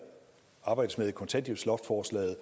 arbejdes med i kontanthjælpsloftsforslaget